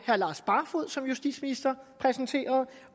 herre lars barfoed som justitsminister præsenterede